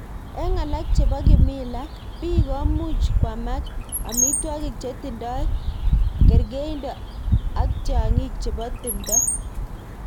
Ik alak cheboo kimila, biik komuj kwamak amitwakik chetindoo kergeindoo ak tyang'ing chebo timndoo.